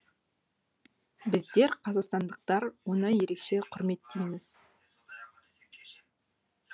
біздер қазақстандықтар оны ерекше құрметтейміз